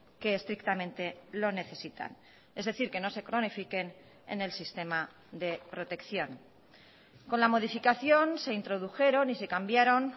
que estrictamente lo necesitan es decir que no se cronifiquen en el sistema de protección con la modificación se introdujeron y se cambiaron